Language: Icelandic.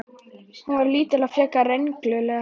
Hún var lítil og frekar rengluleg.